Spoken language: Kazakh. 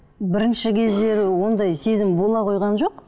бірінші кездері ондай сезім бола қойған жоқ